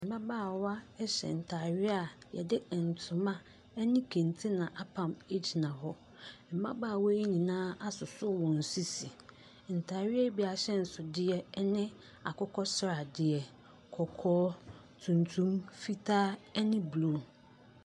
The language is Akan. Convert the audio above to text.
Mmabaawa hyɛ ntadeɛ a wɔde ntoma ne kente na apam gyina hɔ. Mmabaawa yi nyinaa asosɔ wɔn sisi. Ntadeɛ yi bi ahyɛnsodeɛ no akokɔsradeɛ, kɔkɔɔ, tuntum, fitaa ne blue.